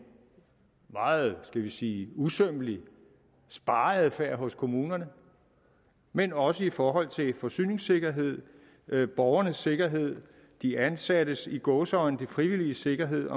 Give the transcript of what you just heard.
meget skal vi sige usømmelig og speget affære for kommunerne men også i forhold til forsyningssikkerhed borgernes sikkerhed de ansattes i gåseøjne frivilliges sikkerhed med